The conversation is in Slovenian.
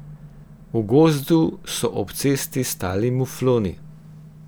V gozdu so ob cesti stali mufloni.